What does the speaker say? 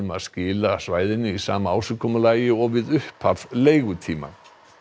að skila svæðinu í sama ásigkomulagi og við upphaf leigutíma